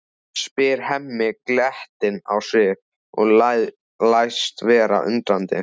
spyr Hemmi glettinn á svip og læst vera undrandi.